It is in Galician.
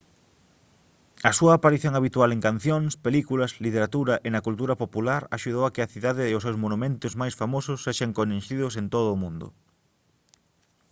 a súa aparición habitual en cancións películas literatura e na cultura popular axudou a que a cidade e os seus monumentos máis famosos sexan coñecidos en todo o mundo